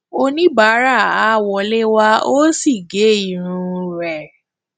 oníbàárà a wọlé wá o sì gé irun rẹ